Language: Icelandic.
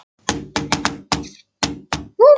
strax þegar hann steig út úr vagninum.